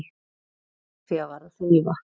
Frú Soffía var að þrífa.